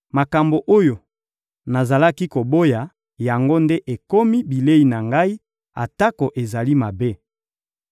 Makambo oyo nazalaki koboya, yango nde ekomi bilei na ngai, atako ezali mabe.